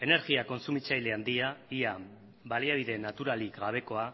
energia kontsumitzaile handia ia baliabide naturalik gabekoa